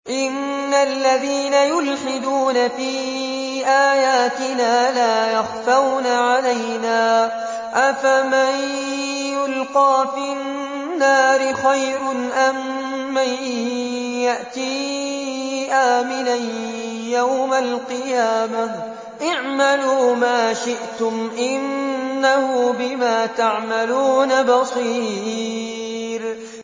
إِنَّ الَّذِينَ يُلْحِدُونَ فِي آيَاتِنَا لَا يَخْفَوْنَ عَلَيْنَا ۗ أَفَمَن يُلْقَىٰ فِي النَّارِ خَيْرٌ أَم مَّن يَأْتِي آمِنًا يَوْمَ الْقِيَامَةِ ۚ اعْمَلُوا مَا شِئْتُمْ ۖ إِنَّهُ بِمَا تَعْمَلُونَ بَصِيرٌ